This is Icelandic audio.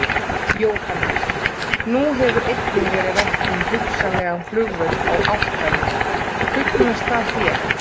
Jóhannes: Nú hefur einnig verið rætt um hugsanlegan flugvöll á Álftanes, hugnast það þér?